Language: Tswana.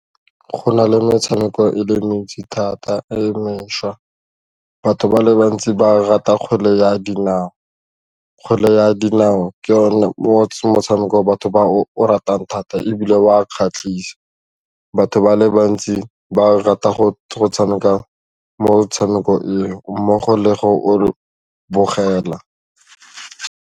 Go na le metshameko e le mentsi thata e mešwa, batho ba le bantsi ba rata kgwele ya dinao, kgwele ya dinao ke yone motshameko batho ba o o ratang thata ebile wa kgatlhise batho ba le bantsi ba rata go tshameka motshameko eo mmogo le go o bogela.